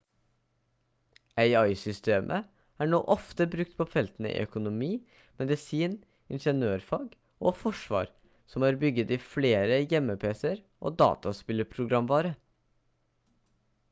ai-systemet er nå ofte brukt på feltene i økonomi medisin ingeniørfag og forsvar som er bygget i flere hjemmepc-er og dataspillprogramvare